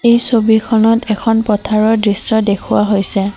এই ছবিখনত এখন পথাৰৰ দৃশ্য দেখুওৱা হৈছে।